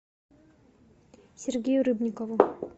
сергею рыбникову